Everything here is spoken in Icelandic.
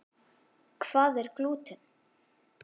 Hvað er glúten?